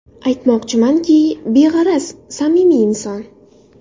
Aytmoqchimanki, beg‘araz, samimiy inson.